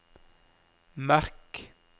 merk